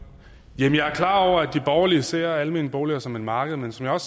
klar over at de borgerlige ser de almene boliger som et marked men som jeg